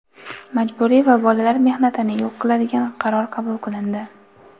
majburiy va bolalar mehnatini yo‘q qiladigan qaror qabul qilindi.